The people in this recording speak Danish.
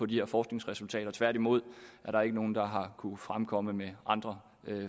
de her forskningsresultater tværtimod er der ikke nogen der har kunnet fremkomme med andre